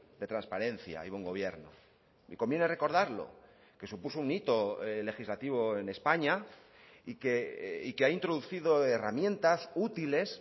de transparencia y buen gobierno y conviene recordarlo que supuso un hito legislativo en españa y que ha introducido herramientas útiles